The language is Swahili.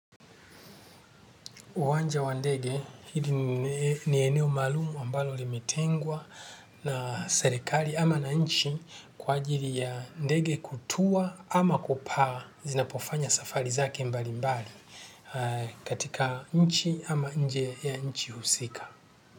Uwanja wa ndege, hili ni eneo maalumu ambalo limetengwa na serikali ama na nchi kwa ajili ya ndege kutua ama kupaa zinapofanya safari zake mbalimbali katika nchi ama nje ya nchi husika.